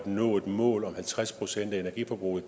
nå et mål om at halvtreds procent af energiforbruget